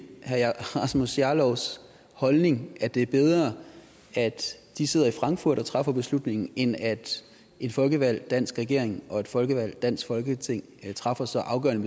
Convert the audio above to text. herre rasmus jarlovs holdning at det er bedre at de sidder i frankfurt og træffer beslutningen end at en folkevalgt dansk regering og et folkevalgt dansk folketing træffer så afgørende